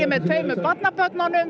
með tveimur barnabörnunum